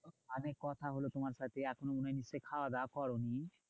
অনেক কথা হলো তোমার সাথে। এখনো মনে হচ্ছে খাওয়াদাওয়া করোনি?